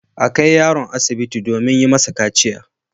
A kai yaron asibiti domin yi masa kaciya.